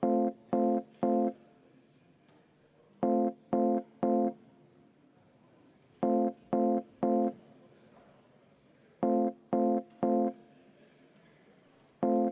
Aitäh, austatud aseesimees!